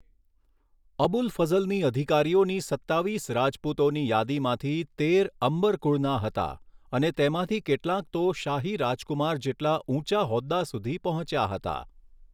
અબુલ ફઝ્લની અધિકારીઓની સત્તાવીસ રાજપૂતોની યાદીમાંથી તેર અંબર કુળના હતા અને તેમાંથી કેટલાંક તો શાહી રાજકુમાર જેટલા ઊંચા હોદ્દા સુધી પહોંચ્યા હતા.